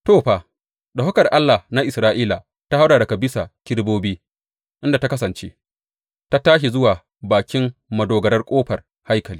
To, fa, ɗaukakar Allah na Isra’ila ta haura daga bisa kerubobi, inda ta kasance, ta tashi zuwa bakin madogarar ƙofar haikali.